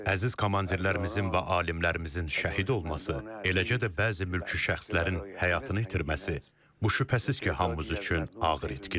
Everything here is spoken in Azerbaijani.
Əziz komandirlərimizin və alimlərimizin şəhid olması, eləcə də bəzi mülki şəxslərin həyatını itirməsi, bu şübhəsiz ki, hamımız üçün ağır itkidir.